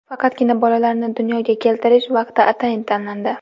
Faqatgina bolalarni dunyoga keltirish vaqti atayin tanlandi.